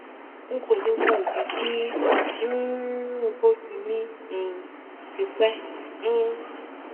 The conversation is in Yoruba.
n kò le mọ ìdí tí um nǹkan oṣù mi um fi pẹ um